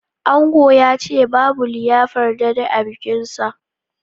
Ango yace babu liyafar dade a bikin sa